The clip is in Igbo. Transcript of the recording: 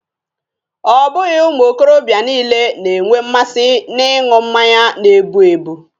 Ọ bụghị ụmụ okorobịa niile na-enwe mmasị n'ịṅụ mmanya na-ebu ebu.